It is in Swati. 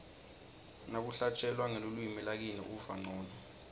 nakuhlatjelwa ngelulwimi lakini uva ncono